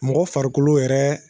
Mɔgɔ farikolo yɛrɛ